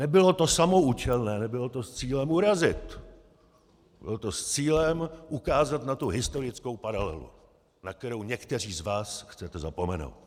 Nebylo to samoúčelné, nebylo to s cílem urazit, bylo to s cílem ukázat na tu historickou paralelu, na kterou někteří z vás chcete zapomenout.